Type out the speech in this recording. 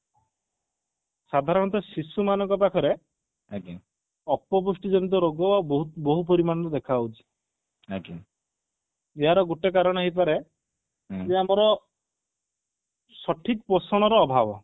ସାଧାରଣତଃ ଶିଶୁ ମାନଙ୍କ ପାଖରେ ଅପପୁଷ୍ଟି ଜନିତ ରୋଗ ଆଉ ବହୁତ ବହୁତ ପରିମାଣରେ ଦେଖା ଯାଉଛି ଏହାର ଗୋଟେ କାରଣ ହେଇପାରେ ଛୁଆଙ୍କର ସଠିକ ପୋଷଣର ଅଭାବ